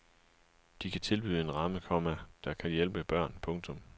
De kan tilbyde en ramme, komma der kan hjælpe børn. punktum